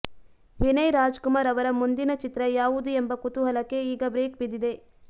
ವಿನಯ್ ರಾಜಕುಮಾರ್ ಅವರ ಮುಂದಿನ ಚಿತ್ರ ಯಾವುದು ಎಂಬ ಕುತೂಹಲಕ್ಕೆ ಈಗ ಬ್ರೇಕ್ ಬಿದ್ದಿದೆ